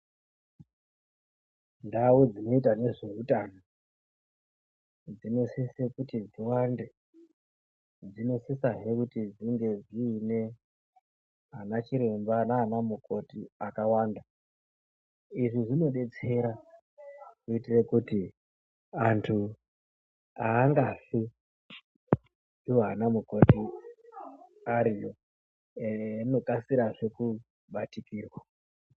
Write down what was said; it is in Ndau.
Ndau dzinoita nezveutano dzinosise kuti ziwande dzinosisa hee kuti dzinge dzine vanachiremba nanamukoti akawanda. Izvi zvinobetsera kuitire kuti antu angafi iwo anamukoti ariyo eyindokasirazve kubatikirwa.